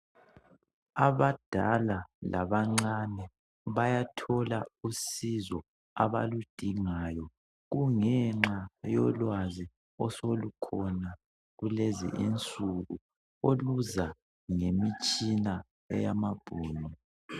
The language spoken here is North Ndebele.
Abadala labancane bayathola usizo abaludingayo kungenxa yolwazi osolukhona kulezi insuku oluza ngemitshina eyamabhunu